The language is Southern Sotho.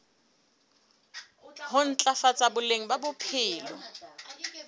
ho ntlafatsa boleng ba bophelo